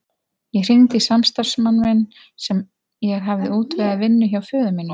Ég hringdi í samstarfsmann minn sem ég hafði útvegað vinnu hjá föður mínum.